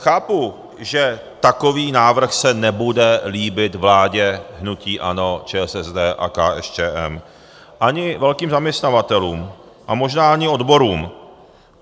Chápu, že takový návrh se nebude líbit vládě hnutí ANO, ČSSD a KSČM ani velkým zaměstnavatelům a možná ani odborům.